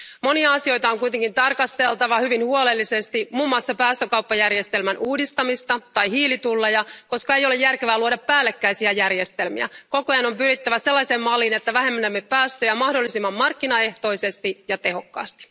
Monia asioita on kuitenkin tarkasteltava hyvin huolellisesti, muun muassa päästökauppajärjestelmän uudistamista ja hiilitulleja, koska ei ole järkevää luoda päällekkäisiä järjestelmiä. Koko ajan on pyrittävä sellaiseen malliin, että vähennämme päästöjä mahdollisimman markkinaehtoisesti ja tehokkaasti.